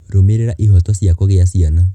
Rũmĩrĩra ihooto cia kũgĩa ciana.